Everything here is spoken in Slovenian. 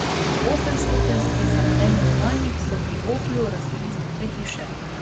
Osemstopenjski samodejni menjalnik so pri Oplu razvili znotraj hiše.